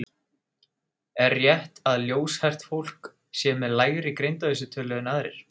Er rétt að ljóshært fólk sé með lægri greindarvísitölu en aðrir?